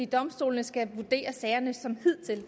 domstolene skal vurdere sagerne som de hidtil